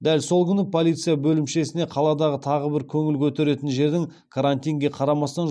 дәл сол күні полиция бөлімшесіне қаладағы тағы бір көңіл көтеретін жердің карантинге қарамастан